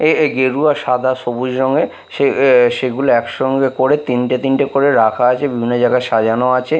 এ এ গেরুয়া সাদা সবুজ রঙের সে এ সেগুলো একসঙ্গে করে তিনটে তিনটে করে রাখা আছে বিভিন্ন জায়গায় সাজানো আছে ।